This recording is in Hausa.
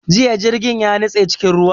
Jiya jirgin ya nitse cikin ruwa